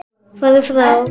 Farðu frá!